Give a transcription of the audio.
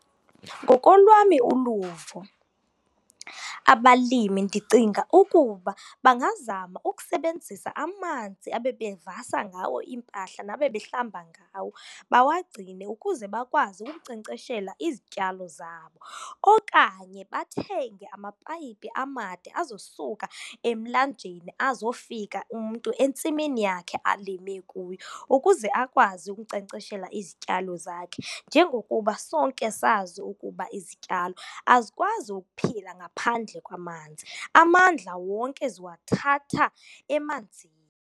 Ngokolwami uluvo abalimi, ndicinga ukuba bangazama ukusebenzisa amanzi abebevasa ngawo iimpahla nabebehlamba ngawo bawagcine ukuze bakwazi ukunkcenkceshela izityalo zabo. Okanye bathenge amapayipi amade azosuka emlanjeni, azofika umntu entsimini yakhe alime kuyo ukuze akwazi ukunkcenkceshela izityalo zakhe. Njengokuba sonke sisazi ukuba izityalo azikwazi ukuphila ngaphandle kwamanzi, amandla wonke ziwathatha emanzini.